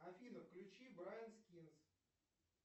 афина включи брайан скинс